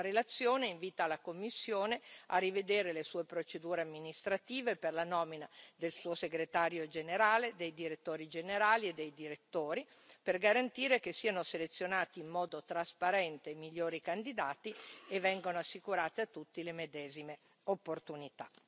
La relazione invita la Commissione a rivedere le sue procedure amministrative per la nomina del suo Segretario generale, dei direttori generali e dei direttori, per garantire che siano selezionati in modo trasparente i migliori candidati e vengano assicurate a tutti le medesime opportunità.